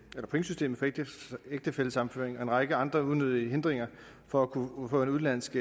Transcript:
det pointsystem for ægtefællesammenføring og en række andre unødige hindringer for at kunne få en udenlandsk